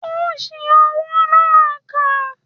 Ó ṣi owó náà kà